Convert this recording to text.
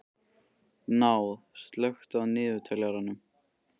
Náð, slökktu á niðurteljaranum.